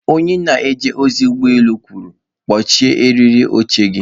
Onye na-eje ozi ụgbọ elu kwuru, "kpọchie eriri oche gị".